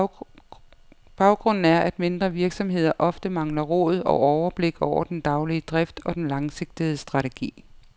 Baggrunden er, at mindre virksomheder ofte mangler råd og overblik over den daglige drift og den langsigtede strategi.